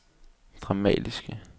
dramatiske